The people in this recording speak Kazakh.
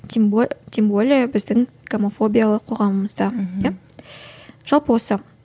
тем тем более біздің гомофобиялық қоғамымызда мхм иә жалпы осы